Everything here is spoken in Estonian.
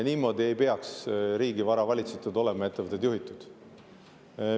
Niimoodi ei peaks riigivara valitsetud ja ettevõtted juhitud olema.